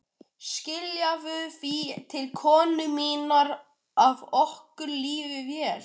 Skilaðu því til konu minnar að okkur líði vel.